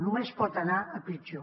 només pot anar a pitjor